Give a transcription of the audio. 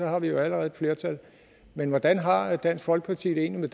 har vi jo allerede et flertal men hvordan har dansk folkeparti det egentlig